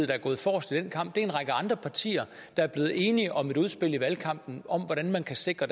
der er gået forrest i den kamp det er en række andre partier der er blevet enige om et udspil i valgkampen om hvordan man kan sikre